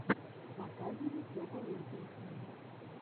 показывай топовые песни